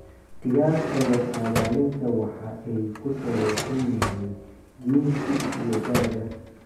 "Qiyaasta la saadaalinta waxa ay ku saleysan yihiin jinsi iyo da'da."